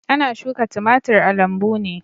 Ana shuka timatir a lambu ne.